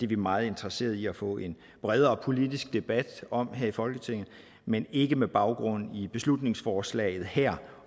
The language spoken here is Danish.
vi meget interesserede i at få en bredere politisk debat om her i folketinget men ikke med baggrund i beslutningsforslaget her